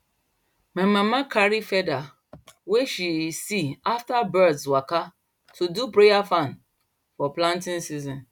my mama carry feather wey she see after birds waka to do prayer fan for planting season